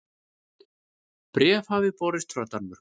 Bréf hafði borist frá Danmörku.